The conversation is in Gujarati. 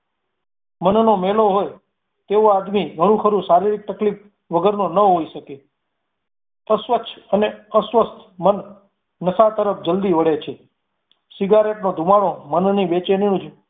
મનનો મેલો હોય તેવો આદમી ઘણું ખરું શારીરિક તકલીફ વગરનો ન હોઈ શકે. અસ્વચ્છ અને અસ્વસ્થ મન નશા તરફ જલ્દી વળે છે. સિગારેટનો ધૂમાળો મનની બેચેની